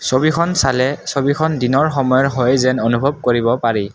ছবিখন চালে ছবিখন দিনৰ সময়ৰ হয় যেন অনুভৱ কৰিব পাৰি।